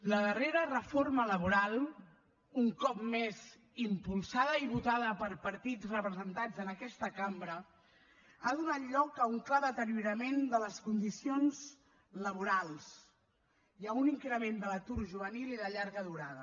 la darrera reforma laboral un cop més impulsada i votada per partits representats en aquesta cambra ha donat lloc a un clar deteriorament de les condicions laborals i a un increment de l’atur juvenil i de llarga durada